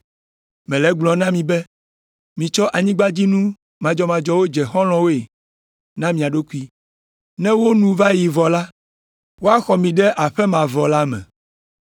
Mele egblɔm na mi be mitsɔ anyigbadzinu madzɔmadzɔwo dze xɔlɔ̃woe na mia ɖokui, ne wo nu va yi vɔ la, woaxɔ mi ɖe aƒe mavɔ la me.